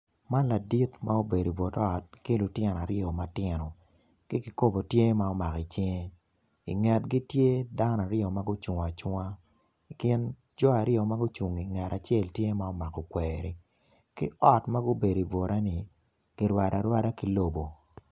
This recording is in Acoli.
Man ladit ma obedo ibut ot ku lutino matino ki kikopo tye ma omako i cinge ingetgi tye dano aryo magucung acunga i kin jo aryo magucunggi ngat acel tye ma omako kweri ki ot magubedo i bure ni kirwado arwada ki lobo.